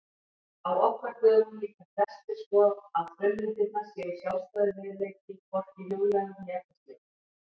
Á okkar dögum líta flestir svo að frummyndirnar séu sjálfstæður veruleiki, hvorki huglægur né efnislegur.